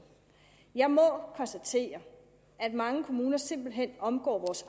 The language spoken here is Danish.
jeg må konstatere at mange kommuner simpelt hen omgår